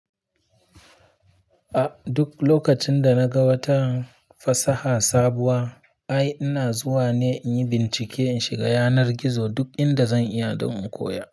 A duk lokacin da na ga wata fasaha sabuwa, ai ina zuwa ne in yi bincike in shiga yanar gizo duk inda zan iya don in koya.